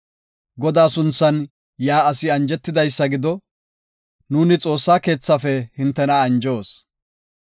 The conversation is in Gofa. Godaa sunthan yaa asi anjetidaysa gido; nuuni Xoossa keethaafe hintena anjoos.